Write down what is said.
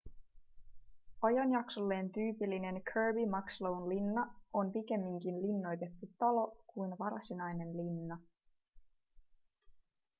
ajanjaksolleen tyypillinen kirby muxloen linna on pikemminkin linnoitettu talo kuin varsinainen linna